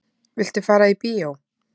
Viltu fara í bíó?